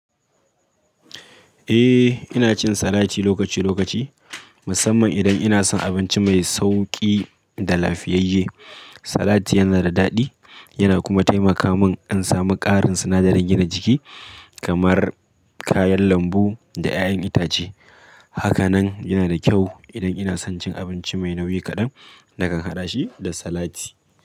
Eh, ina cin salati lokaci lokaci, musamman idan ina son abinci mai sauƙi da lafiyayye. Salati yana da daɗi yana kuma taimaka min in samu ƙarin sinadaran gina jiki, kamar kayan lambu da ƴaƴan itace. Haka nan yana da kyau idan ina son cin abinci mai nauyi kaɗan nakan haɗa shi da salati.